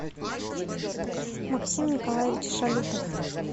максим николаевич шалютов